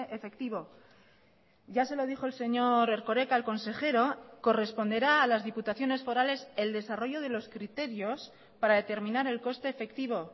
efectivo ya se lo dijo el señor erkoreka el consejero corresponderá a las diputaciones forales el desarrollo de los criterios para determinar el coste efectivo